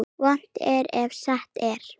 Vont er ef satt er.